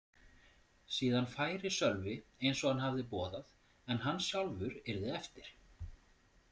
Síðan færi Sölvi eins og hann hafði boðað en hann sjálfur yrði eftir.